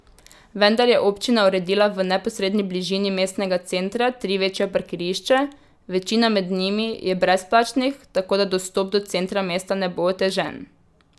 Vendar je občina uredila v neposredni bližini mestnega centra tri večja parkirišča, večina med njimi je brezplačnih, tako da dostop do centra mesta ne bo otežen.